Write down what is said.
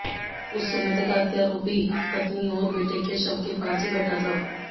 उस समय तक हत्यारोपी पत्नी और बेटे के शव के पास ही बैठा था